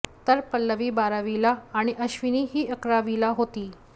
तर पल्लवी बारावीला आणि अश्विनी ही अकरावीला होती